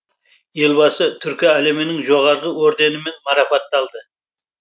елбасы түркі әлемінің жоғары орденімен марапатталды